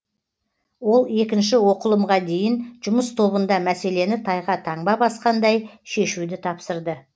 ол екінші оқылымға дейін жұмыс тобында мәселені тайға таңба басқандай шешуді тапсырды